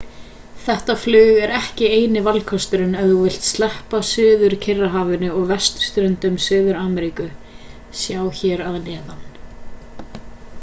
þetta flug er ekki eini valkosturinn ef þú vilt sleppa suður-kyrrahafi og vesturströnd suður-ameríku. sjá hér að neðan